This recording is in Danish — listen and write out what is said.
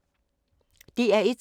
DR1